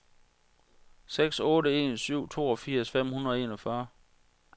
seks otte en syv toogfirs fem hundrede og enogfyrre